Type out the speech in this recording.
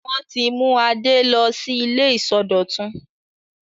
Wọ́n ti mú Adé lọ sí ilé ìsọdọ̀tun.